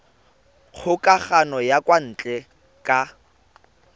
kgokagano ya kwa ntle ka